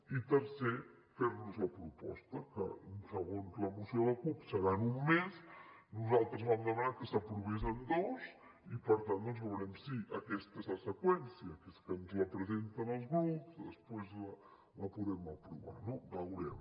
i tercer fer nos la proposta que segons la moció de la cup serà en un mes nosaltres vam demanar que s’aprovés en dos i per tant doncs veurem si aquesta és la seqüència que és que ens la presenten els grups després la podem aprovar no veurem